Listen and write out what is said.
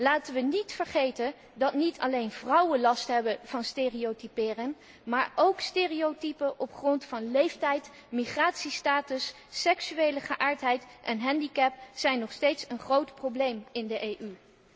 Laten we niet vergeten dat niet alleen vrouwen last hebben van stereotypering maar ook stereotypen op grond van leeftijd, migratiestatus, seksuele geaardheid en handicap nog steeds een groot probleem zijn in de EU.